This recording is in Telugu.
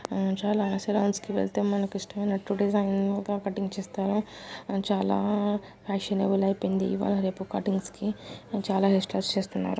చాల సెలూన్స్ కి వెళ్తే మనకు ఇష్టం అయినట్టు డిజైన్ గా కటింగ్ చేస్తారు చాల ఫ్యాషనబుల్ అయిపాయింది ఇవ్వాల రేపు కటింగ్ కి చాల ఎక్ష్త్రస్ చేస్తున్నారు.